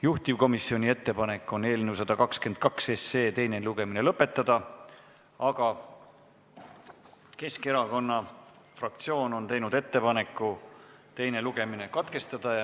Juhtivkomisjoni ettepanek on eelnõu 122 teine lugemine lõpetada, aga Keskerakonna fraktsioon on teinud ettepaneku teine lugemine katkestada.